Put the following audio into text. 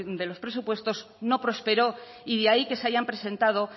de los presupuestos no prosperó y de ahí que se hayan presentado